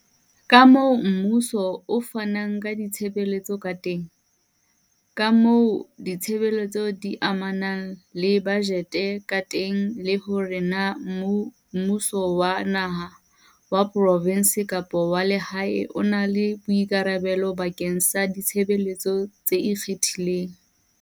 kamoo mmuso o fanang ka ditshebeletso ka teng, kamoo ditshebeletso di amanang le bajete ka teng le hore na mmu so wa naha, wa provense kapa wa lehae o na le boikarabelo bakeng sa ditshebeletso tse ikgethileng.